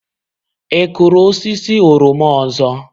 Ị kụrụ osisi oroma ọzọ?